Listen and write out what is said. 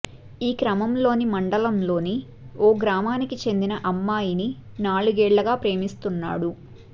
ఈ క్రమంలోని మండలంలోని ఓ గ్రామానికి చెందిన అమ్మాయిని నాలుగేళ్లుగా ప్రేమిస్తున్నాడు